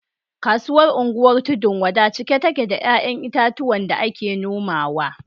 Kasuwar unguwar tudun-wada cike take da ‘ya’yan itatuwa da ake nomawa